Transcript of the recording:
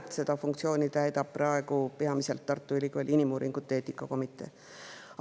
Seda funktsiooni täidab praegu peamiselt Tartu Ülikooli inimuuringute eetika komitee.